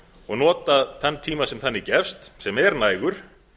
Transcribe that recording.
og nota þann tíma sem þannig gefst sem er nægur